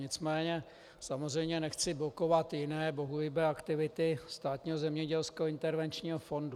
Nicméně samozřejmě nechci blokovat jiné bohulibé aktivity Státního zemědělského intervenčního fondu.